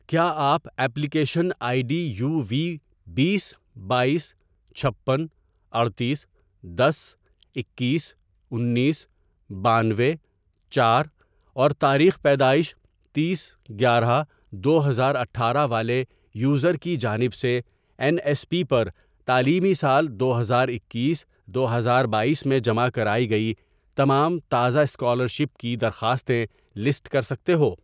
کیا آپ application I D یووی، بیس ،بایس، چھپن، اڈتیس، دس، اکیس، انیس، بانوے، چار، اور تاریخ پیدائش تییس گیارہ دو ہزار اٹھارہ والے یوزر کی جانب سے این ایس پی پر تعلیمی سال دو ہزار اکیس دو ہزار بایس میں جمع کرائی گئی تمام تازہ اسکالرشپ کی درخواستیں لسٹ کر سکتے ہو